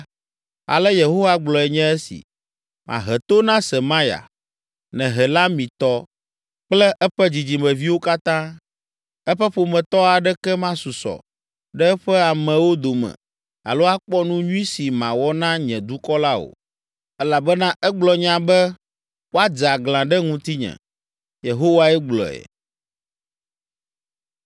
ale Yehowa gblɔe nye esi: Mahe to na Semaya, Nehelamitɔ kple eƒe dzidzimeviwo katã, eƒe ƒometɔ aɖeke masusɔ ɖe eƒe amewo dome alo akpɔ nu nyui si mawɔ na nye dukɔ la o, elabena egblɔ nya be woadze aglã ɖe ŋutinye.’ ” Yehowae gblɔe.